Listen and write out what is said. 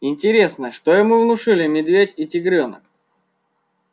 интересно что ему внушили медведь и тигрёнок